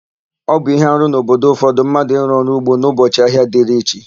Ọ bụ íhé arụ n'obodo ụfọdụ mmadụ ịrụ ọrụ ugbo n'ụbọchị ahịa dịrị chi.